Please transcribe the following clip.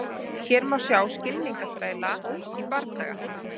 Hér má sjá skylmingaþræla í bardaga.